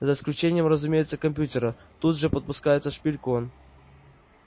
за исключением разумеется компьютера тут же подпускает шпильку он